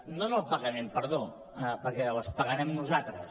no en el pagament perdó perquè les pagarem nosaltres